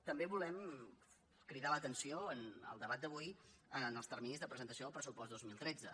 també volem cridar l’atenció en el debat d’avui als terminis de presentació del pressupost dos mil tretze